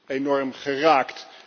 enorm geraakt.